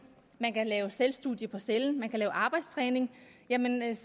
man kan lave selvstudier i cellen man kan lave arbejdstræning jamen